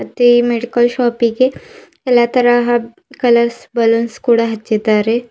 ಮತ್ತೆ ಮೆಡಿಕಲ್ ಶಾಪಿಗೆ ಎಲ್ಲಾ ತರಹ ಕಲರ್ಸ್ ಬಾಲೊನ್ಸ್ ಕೂಡ ಹಚ್ಚಿದ್ದಾರೆ.